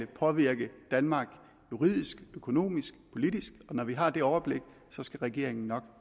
påvirke danmark juridisk økonomisk og politisk og når vi har det overblik skal regeringen nok